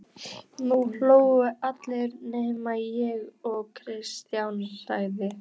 Nú hlógu allir nema ég og Kristján sagði